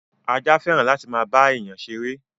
Ajá fẹ́ràn láti máa bá èyán ṣeré.